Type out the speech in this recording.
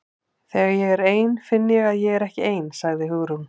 Þegar ég er ein finn ég að ég er ekki nein- sagði Hugrún.